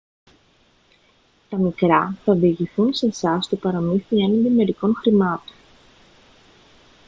τα μικρά θα διηγηθούν σε εσάς το παραμύθι έναντι μερικών χρημάτων